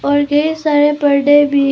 और ढेर सारे बर्थडे भी--